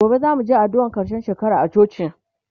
gobe zamuje addu'an karshen shekara a coci